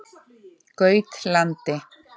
Gautlandi